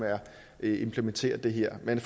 implementerer det her men